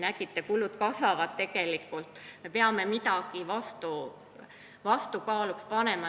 Nägite, tegelikult kulud kasvavad, me peame midagi vastukaaluks panema.